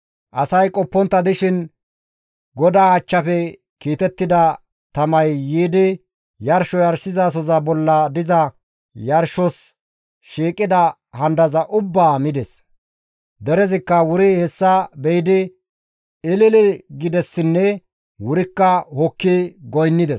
Asay qoppontta dishin GODAA achchafe kiitettida tamay yiidi yarsho yarshizasoza bolla diza yarshos shiiqida handaza ubbaa mides; derezikka wuri hessa be7idi ilili gidessinne wurikka hokki goynnides.